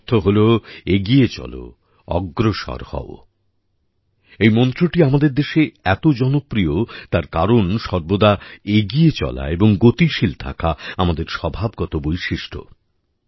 এর অর্থ হলো এগিয়ে চলো অগ্রসর হও এই মন্ত্রটি আমাদের দেশে এত জনপ্রিয় তার কারণ সর্বদা এগিয়ে চলা এবং গতিশীল থাকা আমাদের স্বভাবগত বৈশিষ্ট্য